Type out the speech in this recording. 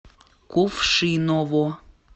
кувшиново